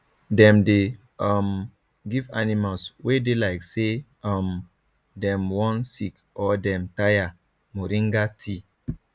dem dey um give animals wey dey like say um dem wan sick or dem tire moringa tea